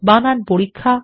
বানান পরীক্ষা